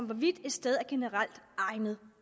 hvorvidt et sted er generelt egnet